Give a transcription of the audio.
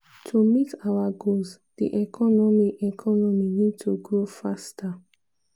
to meet our goals di economy economy need to grow faster."